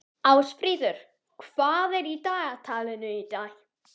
Ásfríður, hvað er í dagatalinu í dag?